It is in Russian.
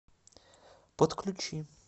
подключи